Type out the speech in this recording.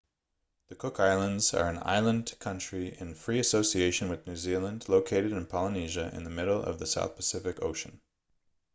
the cook islands are an island country in free association with new zealand located in polynesia in the middle of the south pacific ocean